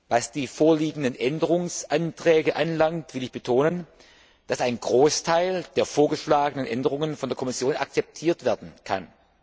Was die vorliegenden Änderungsanträge anbelangt, will ich betonen, dass ein Großteil der vorgeschlagenen Änderungen von der Kommission akzeptiert werden kann.